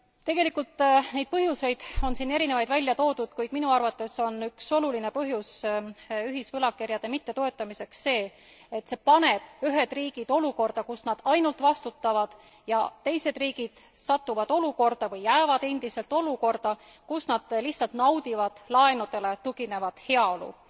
Tegelikult on siin erinevaid põhjuseid välja toodud, kuid minu arvates on üks oluline põhjus ühisvõlakirjade mittetoetamiseks see, et see paneb ühed riigid olukorda, kus nad ainult vastutavad ja teised riigid satuvad olukorda või jäävad endiselt olukorda, kus nad lihtsalt naudivad laenudele tuginevat heaolu.